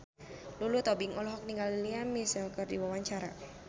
Lulu Tobing olohok ningali Lea Michele keur diwawancara